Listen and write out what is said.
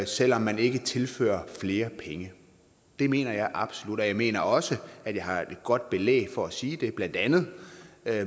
selv om man ikke tilfører flere penge det mener jeg absolut jeg mener også at jeg har et godt belæg for at sige det blandt andet